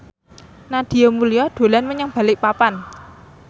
Nadia Mulya dolan menyang Balikpapan